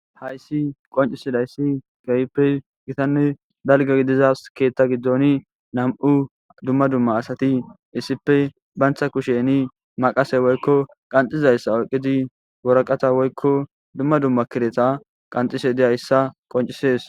Hayssi qoncisidayssi gayppe gitanne dalga gidizas keettha giddoni nam'u dumma dumma asati issipe bantha kusheni maqase woykko qanxizayssa oqidi woraqata woykko dumma dumma kireta qanxise diyayssa qoncisees.